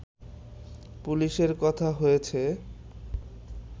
পুলিশের কথা হয়েছে